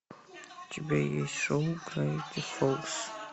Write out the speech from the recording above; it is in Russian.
у тебя есть шоу гравити фолз